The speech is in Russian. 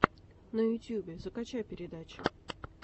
на ютубе закачай передачи